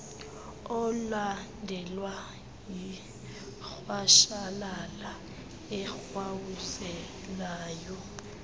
olandelwa yirhwashalala erhawuzelayo